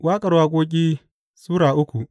Waƙar Waƙoƙi Sura uku